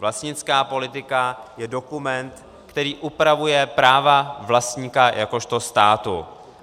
Vlastnická politika je dokument, který upravuje práva vlastníka jakožto státu.